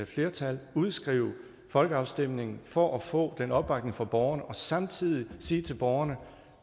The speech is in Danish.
flertal udskrive en folkeafstemning for at få en opbakning fra borgerne og samtidig sige til borgerne